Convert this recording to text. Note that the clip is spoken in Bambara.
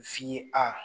F'i a